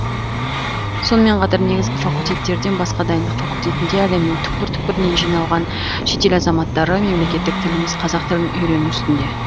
сонымен қатар негізгі факультеттерден басқа дайындық факультетінде әлемнің түкпір түкпірінен жиналған шетел азаматтары мемлекеттік тіліміз қазақ тілін уйрену үстінде